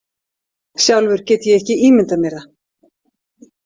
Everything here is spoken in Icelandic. Sjálfur get ég ekki ímyndað mér það.